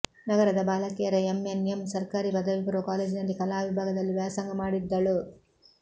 ನಗರದ ಬಾಲಕಿಯರ ಎಂಎನ್ಎಂ ಸರ್ಕಾರಿ ಪದವಿ ಪೂರ್ವ ಕಾಲೇಜಿನಲ್ಲಿ ಕಲಾ ವಿಭಾಗದಲ್ಲಿ ವ್ಯಾಸಂಗ ಮಾಡಿದ್ದಳು